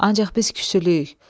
Ancaq biz küsülüyük.